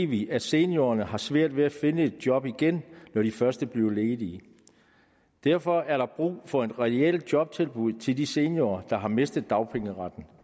vi at seniorerne har svært ved at finde et job igen når de først er blevet ledige derfor er der brug for et reelt jobtilbud til de seniorer der har mistet dagpengeretten